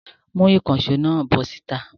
Mú ìkànṣó náà bọ́ síta!